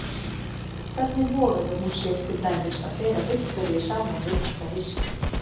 Hvernig vogaði hún sér til dæmis að bera Viktoríu saman við þetta hyski?